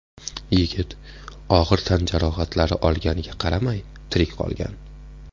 Yigit og‘ir tan jarohatlari olganiga qaramay, tirik qolgan.